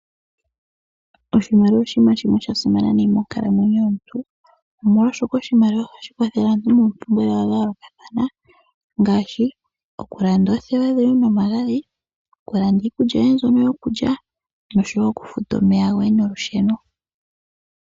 Oshimaliwa oshinima shimwe sha simana nayi monkalamwenyo yomuntu omolwashoka oshimaliwa ohashi kwathele aantu moompumbwe dhawo dhayoolokathana, ngaashi okulanda oothewa dhoye nomagadhi, okulanda iikulya yoye mbyono yokulya nosho wo okufuta omeya goye nolusheno.